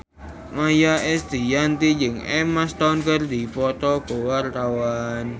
Maia Estianty jeung Emma Stone keur dipoto ku wartawan